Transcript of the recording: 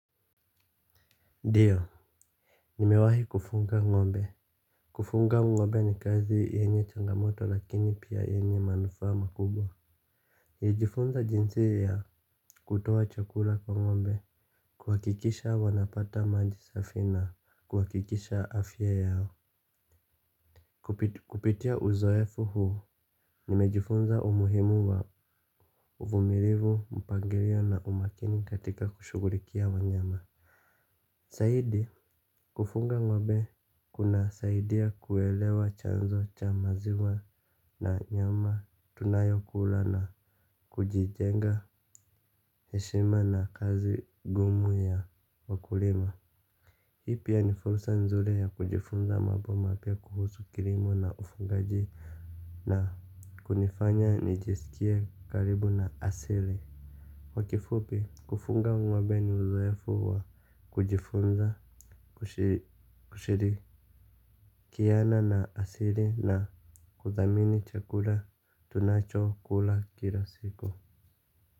Ndio nimewahi kufunga ng'ombe. Kufunga ng'ombe ni kazi yenye changamoto lakini pia yenye manufaa makubwa. Nilijifunza jinsi ya kutoa chakula kwa ng'ombe. Kuhakikisha wanapata maji safi na kuhakikisha afya yao. Kupitia uzoefu huu nimejifunza umuhimu wa uvumilivu, mpangilio na umakini katika kushughulikia wanyama. Zaidi kufunga ng'ombe kunasaidia kuelewa chanzo cha maziwa na nyama tunayokula na kujijenga heshima na kazi ngumu ya wakulima. Hii pia ni fursa nzuri ya kujifunza mambo mapya kuhusu kilimo na ufungaji na kunifanya nijisikie karibu na asili. Kwa kifupi kufunga ng'ombe ni uzoefu wa kujifunza kushiri kiana na asili na kuthamini chakula tunachokula kila siku.